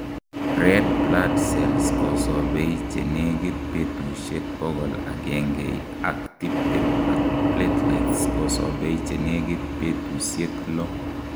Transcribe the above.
red blood cells kosobei chenegit betusiek bokol agengei ak tibtem ak platelets kosobei chenegit betusiek loo